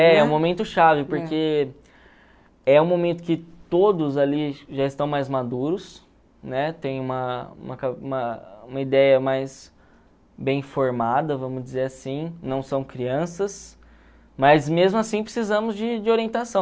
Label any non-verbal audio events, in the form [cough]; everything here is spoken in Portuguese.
É é o momento chave, porque é o momento que todos ali já estão mais maduros, né, tem uma uma [unintelligible] uma uma ideia mais bem formada, vamos dizer assim, não são crianças, mas mesmo assim precisemos de de orientação.